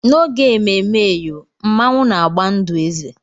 N'oge ememme eyọ, Mmanwu na-agba ndụ eze.